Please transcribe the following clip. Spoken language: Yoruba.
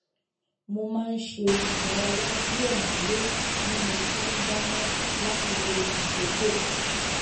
mo má n ṣe ìdárayá díẹ nílé bí mo ṣe n dáná láti lo àkókò